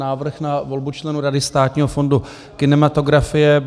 Návrh na volbu členů Rady Státního fondu kinematografie